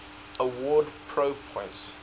awarded pro points